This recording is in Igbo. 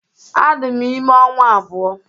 Adị m ime ọnwa abụọ